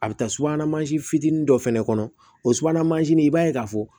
A bɛ taa subana mansin fitinin dɔ fana kɔnɔ o subahana mansin i b'a ye k'a fɔ